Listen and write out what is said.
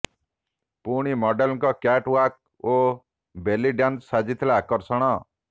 ପୁଣି ମଡେଲଙ୍କ catwalk ଓ ବେଲି ଡ୍ୟାନ୍ସ ସାଜିଥିଲା ଆକର୍ଷଣ